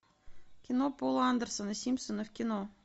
кино пола андерсона симпсоны в кино